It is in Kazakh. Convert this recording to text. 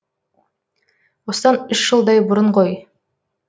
осыдан үш жылдай бұрын ғой